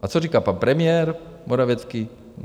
A co říká pan premiér Morawiecki?